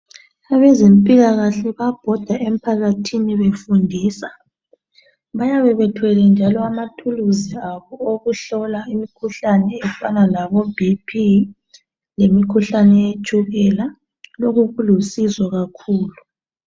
Abazempilakahle bayabhoda emphathini befundisa . Bayabe bethwele njalo amathuluzi abo okuhlola imikuhlane efana labo "BP' lngeminye imikhuhlane yetshukela Lokhu kulusizo kakhulu.